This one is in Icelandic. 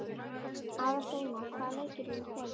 Aðalsteina, hvaða leikir eru í kvöld?